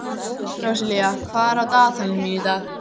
Róselía, hvað er á dagatalinu mínu í dag?